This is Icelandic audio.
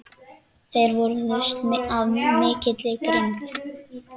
Þeir vörðust af mikilli grimmd.